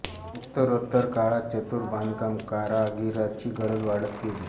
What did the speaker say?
उत्तरोत्तर काळात चतुर बांधकाम कारागिराची गरज वाढत गेली